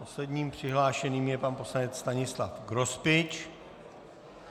Posledním přihlášeným je pan poslanec Stanislav Grospič.